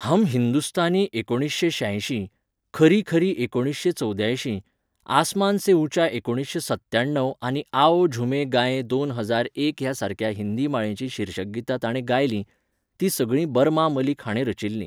हम हिंदुस्थानी एकुणीशें श्यायशीं, खरी खरी एकुणीशें चौद्यायशीं, आसमान से ऊंचा एकुणीशें सत्याणव आनी आओ झूमे गाये दोन हजार एक ह्या सारक्या हिंदी माळेचीं शीर्षकगीतां ताणें गायलीं, तीं सगळीं बरमा मलिक हाणें रचिल्लीं.